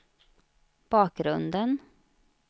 bakgrunden